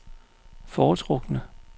foretrukne